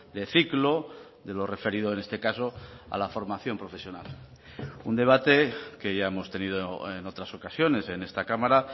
de ciclo de lo referido en este caso a la formación profesional un debate que ya hemos tenido en otras ocasiones en esta cámara